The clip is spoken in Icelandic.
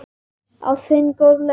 Á sinn góðlega hátt.